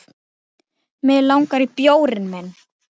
Mig langar í bjórinn minn!